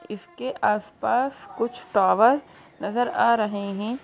इसके आस पास कुछ टोवर नजर आ रहे है।